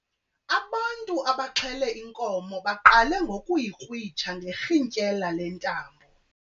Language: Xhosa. Ubantu abaxhele inkomo baqale ngokuyikrwitsha ngerhintyela lentambo.